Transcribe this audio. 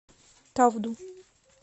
тавду